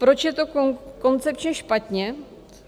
Proč je to koncepčně špatně?